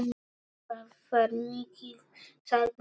Það var mikið, sagði hann.